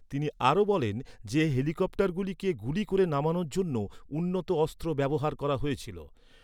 তিনি আরও বলেন যে হেলিকপ্টারগুলিকে গুলি করে নামানোর জন্য উন্নত অস্ত্র ব্যবহার করা হয়েছিল।